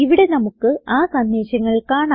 ഇവിടെ നമുക്ക് ആ സന്ദേശങ്ങൾ കാണാം